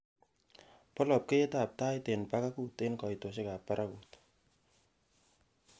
poa labkeiyet ab tait en bagagut en koitosiek ab paragut